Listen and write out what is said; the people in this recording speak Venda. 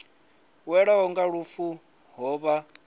welwaho nga lufu ho vha